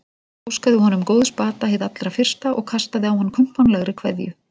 Óskaði honum góðs bata hið allra fyrsta og kastaði á hann kumpánlegri kveðju.